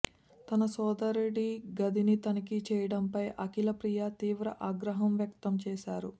తన సోదరుడి గదిని తనిఖీ చేయడంపై అఖిలప్రియ తీవ్ర ఆగ్రహం వ్యక్తం చేశారు